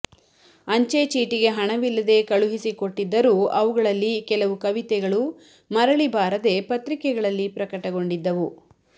ಅಂಚೆ ಚೀಟಿಗೆ ಹಣವಿಲ್ಲದೆ ಕಳುಹಿಸಿಕೊಟ್ಟಿದ್ದರೂ ಅವಗಳಲ್ಲಿ ಕೆಲವು ಕವಿತೆಗಳು ಮರಳಿ ಬಾರದೆ ಪತ್ರಿಕೆಗಳಲ್ಲಿ ಪ್ರಕಟಗೊಂಡಿದ್ದುವು